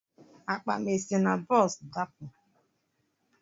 Akpa m esi na bọs dapụ?